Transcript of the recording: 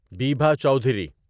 Bibha Chowdhury